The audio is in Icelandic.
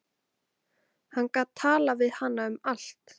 Hann gat talað við hana um allt.